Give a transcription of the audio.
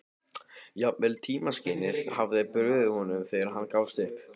Jafnvel tímaskynið hafði brugðist honum þegar hann gafst upp.